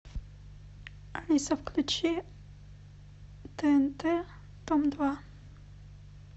алиса включи тнт дом два